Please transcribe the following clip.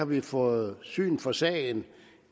vi har fået syn for sagen ved